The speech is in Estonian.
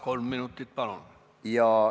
Kolm minutit, palun!